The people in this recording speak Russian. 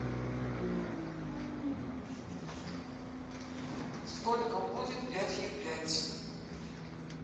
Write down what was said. сколько будет пятью пять